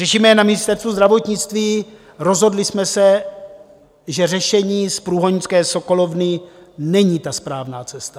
Řešíme je na Ministerstvu zdravotnictví, rozhodli jsme se, že řešení z průhonické sokolovny není ta správná cesta.